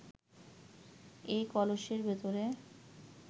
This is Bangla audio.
এ কলসের ভেতরেই